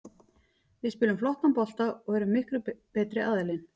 Við spilum flottan bolta og erum miklu betri aðilinn.